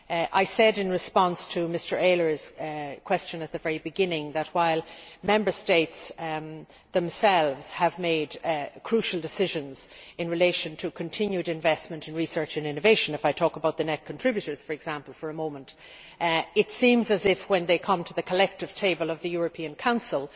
I said in response to Mr Ehler's question at the very beginning that, while Member States themselves have made crucial decisions in relation to continued investment in research and innovation if I talk about the net contributors for example for a moment it seems that, when they come to the collective table of the European Council,